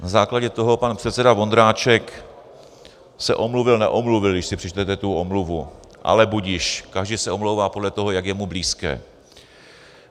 Na základě toho pan předseda Vondráček se omluvil neomluvil, když si přečtete tu omluvu, ale budiž, každý se omlouvá podle toho, jak je mu blízké.